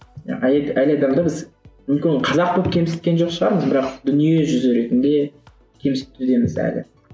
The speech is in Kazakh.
ы әйел әйел адамды біз мүмкін ол қазақ болып кемсіткен жоқ шығармыз бірақ дүниежүзі ретінде кемсітудеміз әлі